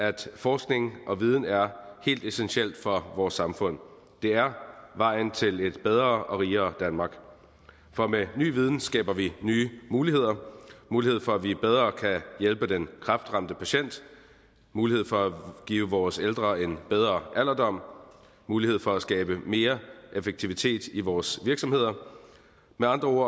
at forskning og viden er helt essentielt for vores samfund det er vejen til et bedre og rigere danmark for med ny viden skaber vi nye muligheder mulighed for at vi bedre kan hjælpe den kræftramte patient mulighed for at give vores ældre en bedre alderdom mulighed for at skabe mere effektivitet i vores virksomheder med andre ord